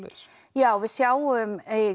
já við sjáum